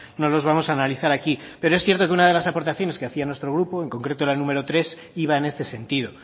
no los vamos a analizar aquí pero es cierto que una de las aportaciones que hacía nuestro grupo en concreto la número tres iba en este sentido